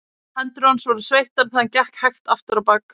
Hendur hans voru sveittar þegar hann gekk hægt afturábak.